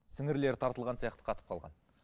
сіңірлері тартылған сияқты қатып қалған